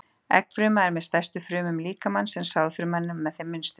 Eggfruma er með stærstu frumum líkamans en sáðfruman er með þeim minnstu.